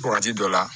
Wagati dɔ la